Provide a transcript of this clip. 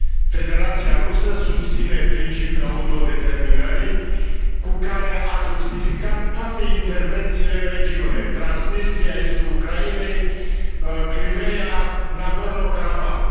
Federația Rusă susține principiul autodeterminării cu care ar justifica toate intervențiile în regiune Transnistria, estul Ucrainei, Crimeea, Nagorno Karabah.